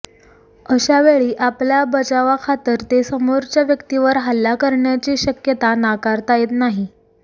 अशावेळी आपल्या बचावाखातर ते समोरच्या व्यक्तीवर हल्ला करण्याची शक्यता नाकारता येत नाही